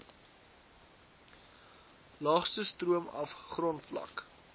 laagste stroomaf grondvlak